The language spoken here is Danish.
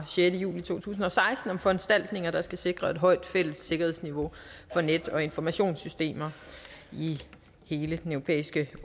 sjette juli to tusind og seksten om foranstaltninger der skal sikre et højt fælles sikkerhedsniveau for net og informationssystemer i hele den europæiske